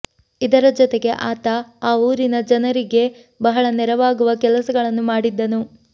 ಇದರ ಜೊತೆಗೆ ಆತ ಈ ಊರಿನ ಜನರಿಗೆ ಬಹಳ ನೆರವಾಗುವ ಕೆಲಸಗಳನ್ನು ಮಾಡಿದ್ದನು